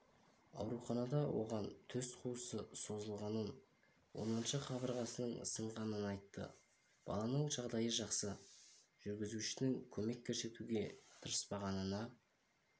ауруханада оған төс қуысы соғылғанын оныншы қабырғасының сынғанын айтты баланың жағдайы жақсы жүргізушінің көмек көрсетуге тырыспағанына